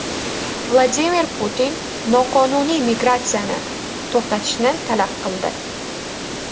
Vladimir Putin noqonuniy migratsiyani to‘xtatishni talab qildi.